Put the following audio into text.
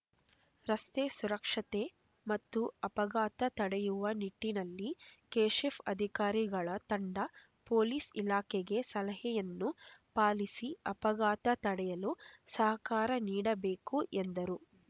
ರಸ್ತೆ ಸುರಕ್ಷತೆ ಮತ್ತು ಅಪಘಾತ ತಡೆಯುವ ನಿಟ್ಟಿನಲ್ಲಿ ಕೆಶಿಪ್ ಅಧಿಕಾರಿಗಳ ತಂಡ ಪೊಲೀಸ್ ಇಲಾಖೆಗೆ ಸಲಹೆಯನ್ನು ಪಾಲಿಸಿ ಅಪಘಾತ ತಡೆಯಲು ಸಹಕಾರ ನೀಡಬೇಕು ಎಂದರು